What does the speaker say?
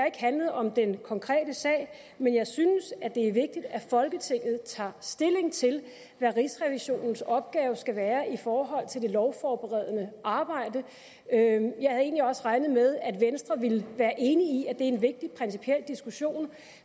ikke handlet om den konkrete sag men jeg synes det er vigtigt at folketinget tager stilling til hvad rigsrevisionens opgave skal være i forhold til det lovforberedende arbejde jeg havde egentlig også regnet med at venstre ville være enig i er en vigtig principiel diskussion